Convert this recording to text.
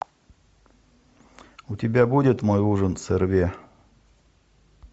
у тебя будет мой ужин с эрве